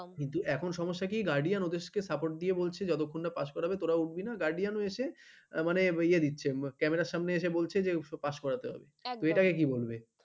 কিন্তু এখন সমস্যা কি guardian ওদেরকে support দিয়ে বলছে যতক্ষণ না pass করাবে তোরা উঠবি না guardian এসে মানে ইহা দিয়ে দিচ্ছে camera র সামনে এসে বলছে pass করাতে হবে, একদম তো এটাকে কি বলবে?